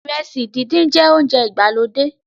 iresi dindin jẹ ounjẹ ìgbàlódé